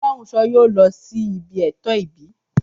Fọlọ́runṣọ́ yóò lọ sí ibi ètò ìbí